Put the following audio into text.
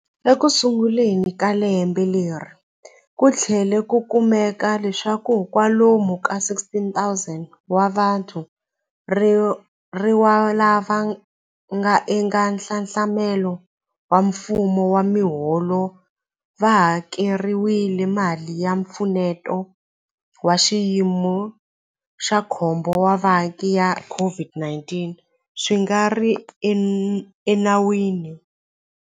Ekusunguleni ka lembe leri, ku tlhele ku kumeka leswaku kwalomu ka 16,000 wa vathoriwa lava nga eka nxaxamelo wa mfumo wa miholo va hakeriwile mali ya Mpfuneto wa Xiyimo xa Khombo wa Vaaki ya COVID-19 swi nga ri enawini.